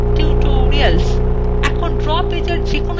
এখন draw পেজএর যেকোনো জায়গায় click করুন